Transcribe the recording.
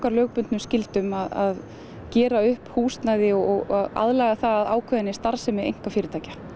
lögbundnu skyldum að gera upp húsnæði og að aðlaga það að ákveðinni starfsemi einkafyrirtækja